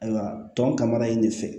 Ayiwa tɔn kama in de fɛ